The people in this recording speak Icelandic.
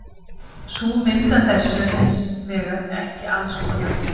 Sú mynd af þessu er hins vegar ekki alls kostar rétt.